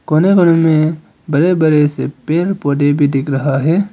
कोने कोने में बड़े बड़े से पेड़ पौधे भी दिख रहा है।